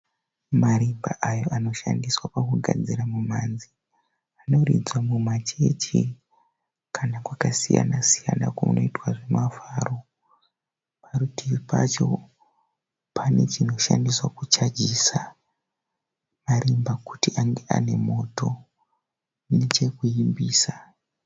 Marimba aya anoshandiswa pakugadzira mumhanzi. Anoridzwa mumachechi kana kwakasiyana siyana kunoita zvemafaro. Parutivi pacho pane chinoshandiswa kuchajisa marimba acho ange ane moto nechekuimbisa.